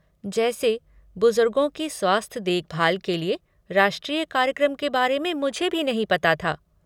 जैसे, बुजुर्गों की स्वास्थ्य देखभाल के लिए राष्ट्रीय कार्यक्रम के बारे में मुझे भी नहीं पता था